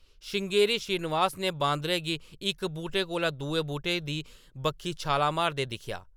श्रृंगेरी श्रीनिवास ने बांदरै गी इक बूह्‌‌टे कोला दुए बूह्‌‌टे दी बक्खी छालां मारदे दिक्खेआ ।